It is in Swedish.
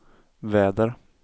väder